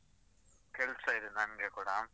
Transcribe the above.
ಕೆಲ್ಸ ಇದೆ ನಂಗೆ ಕೂಡ.